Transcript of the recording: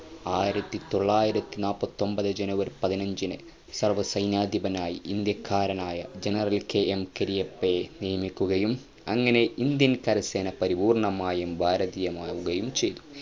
ആയിരത്തി തൊള്ളായിരത്തി നപത്തൊമ്പതെ ജനുവരി പതിനഞ്ചിന് സർവ്വസൈന്യാധിപനായ ഇന്ത്യകാരനായ generalK. M കെരിയപ്പയെ നിയമിക്കുകയും അങ്ങനെ Indian കരസേനാ പരിപൂർണമായും ഭാരതീയമാവുകയും ചയ്തു